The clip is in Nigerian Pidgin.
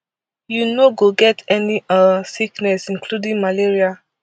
you no go get any um sickness including malaria